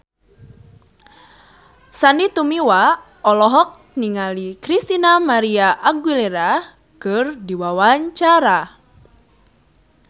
Sandy Tumiwa olohok ningali Christina María Aguilera keur diwawancara